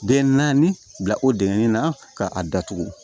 Den naani bila o dengɛn na ka a datugu